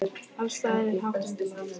Alls staðar er hátt undir loft.